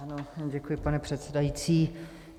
Ano, děkuji, pane předsedající.